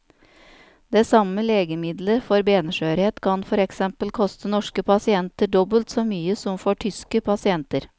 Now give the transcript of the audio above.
Det samme legemiddelet for benskjørhet kan for eksempel koste norske pasienter dobbelt så mye som for tyske pasienter.